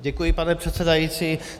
Děkuji, pane předsedající.